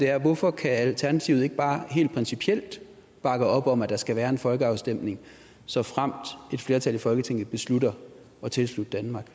er hvorfor kan alternativet ikke bare helt principielt bakke op om at der skal være en folkeafstemning såfremt et flertal i folketinget beslutter at tilslutte danmark